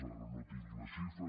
ara no tinc la xifra